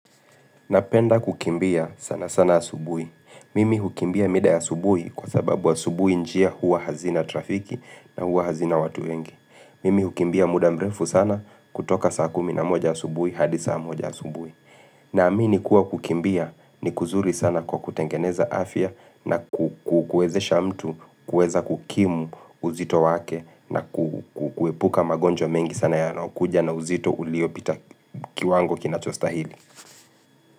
Napenda kukimbia sana sana asubuhi. Mimi hukimbia mida asubuhi kwa sababu asubuhi njia huwa hazina trafiki na huwa hazina watu wengi. Mimi hukimbia muda mrefu sana kutoka saa kumi na moja asubuhi hadi saa moja asubuhi. Naamini kuwa kukimbia ni kuzuri sana kwa kutengeneza afya na kukuwezesha mtu, kuweza kukimu uzito wake na kukuepuka magonjwa mengi sana yanayokuja na uzito uliopita kiwango kinachostahili.